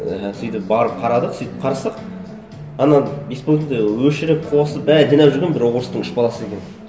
мхм сөйтіп барып қарадық сөйтіп қарасақ ана беспилотникті өшіріп қосып бәрін жинап жүрген бір орыстың үш баласы екен